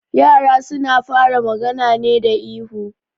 Yara suna fara magana ne da ihu